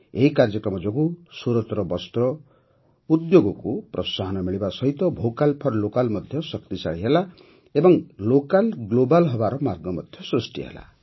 ଏହି କାର୍ଯ୍ୟକ୍ରମ ଯୋଗୁଁ ସୁରତର ବସ୍ତ୍ର ଉଦ୍ୟୋଗକୁ ପ୍ରୋତ୍ସାହନ ମିଳିବା ସହିତ ଭୋକାଲ୍ ଫର୍ ଲୋକାଲ୍ ମଧ୍ୟ ଶକ୍ତିଶାଳୀ ହେଲା ଏବଂ ଲୋକାଲ୍ ଗ୍ଲୋବାଲ୍ ହେବାର ମାର୍ଗ ମଧ୍ୟ ସୃଷ୍ଟି ହେଲା